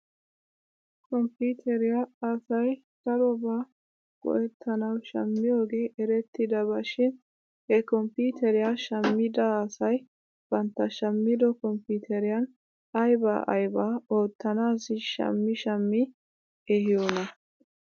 Komppiiteriyaa asay darobaa go'ettanaw shammiyoogee erettiyaaba shin he komppiiteriyaa shammida asay bantta shammido kompiiteriyan aybaa aybaa oottanaassi shammi shammi ehiyoonaa?